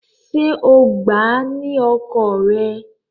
Ṣé o gbà á ni ọkọ rẹ?